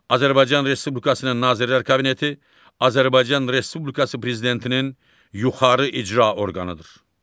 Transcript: Azərbaycan Respublikasının Nazirlər Kabineti Azərbaycan Respublikası prezidentinin yuxarı icra orqanıdır.